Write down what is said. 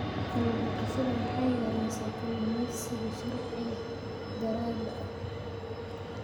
Kallun daqashada waxay yareysaa kalluumeysiga sharci darrada ah.